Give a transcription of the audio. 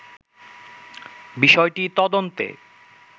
বিষয়টি তদন্তে